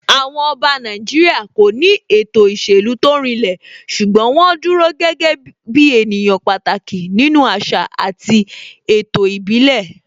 Àwọn Ọba Nàìjíríà kò ní ètò ìṣèlú tó rinlẹ̀ ṣùgbọ́n wọ́n dúró gẹ́gẹ́ ènìyàn pàtàkì nínú àṣà àti ètò ìbílẹ̀